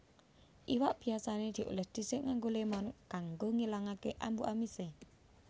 Iwak biasané diolès dhisik nganggo lémon kanggo ngilangake ambu amisé